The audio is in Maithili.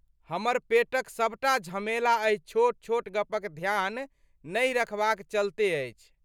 हमर पेटक सबटा झमेला एहि छोट छोट गपक ध्यान नहि रखबाक चलते अछि।